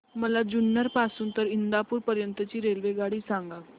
मला जुन्नर पासून तर इंदापूर पर्यंत ची रेल्वेगाडी सांगा